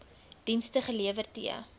dienste gelewer t